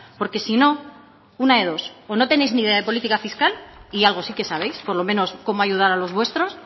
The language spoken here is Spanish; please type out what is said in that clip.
porque si no una de dos o no tenéis ni idea de política fiscal y algo sí que sabéis por lo menos cómo ayudar a los vuestros